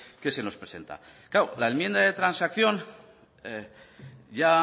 que se nos presenta la enmienda de transacción